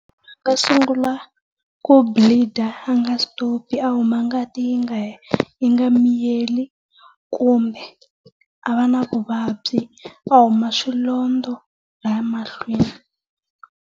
U sungula ku bleed a nga stop a huma ngati yi nga yi nga miyeli kumbe a va na vuvabyi, a huma swilondza laya mahlweni.